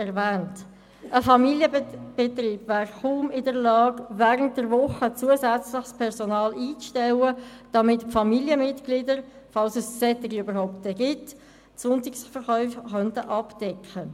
Ein Familienbetrieb wäre kaum in der Lage, zusätzliches Personal für während der Woche einzustellen, damit Familienmitglieder, falls es überhaupt solche gibt, die Sonntagsverkäufe abdecken könnten.